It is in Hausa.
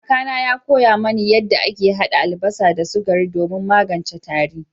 Kakana ya koya mani yadda ake hada albasa da sukari domin magance tari.